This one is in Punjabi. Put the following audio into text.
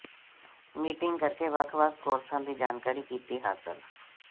ਮੀਟਿੰਗ ਕਰਕੇ ਵੱਖ ਵੱਖ ਕੋਰਸਾਂ ਦੀ ਜਾਣਕਾਰੀ ਕੀਤੀ ਹਾਸਲ